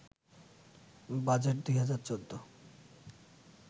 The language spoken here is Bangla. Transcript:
বাজেট ২০১৪